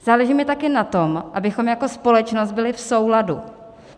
Záleží mi taky na tom, abychom jako společnost byli v souladu.